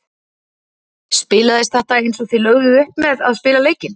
Spilaðist þetta eins og þið lögðuð upp með að spila leikinn?